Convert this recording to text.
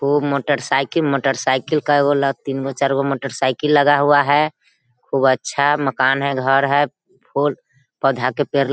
खूब motorcycle motorcycle का तीन गो चार गो मोटर साइकिल लगा हुआ है खूब अच्छा मकान है घर हैं फूल पौधा के पेड़ ल --